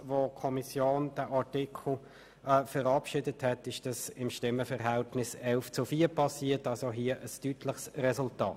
Am Schluss verabschiedete die Kommission den Artikel mit einem Stimmenverhältnis von 11 zu 4, also mit einem deutlichen Resultat.